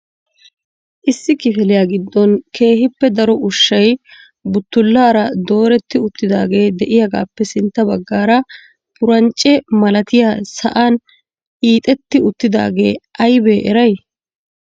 issi kifiliya giddon keehippe daro ushshay buttulaara dooreti uttidaagee de'iyaagaappe sintta baggaara purancce malatiyaa sa'an hiixxeti uttidaagee aybbe eray ?